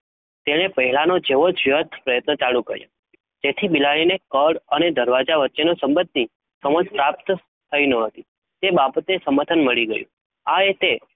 તેણે પહેલાનો જેવો જથ પ્રયત્ન ચાલુ કર્યો. તેથી બિલાડીને કળ અને દરવાજા વચ્ચેનો સંબંધની સમજ પ્રાપ્ત થઈ ન હતી તે બાબતે સમાધાન મળી ગયું આ રીતે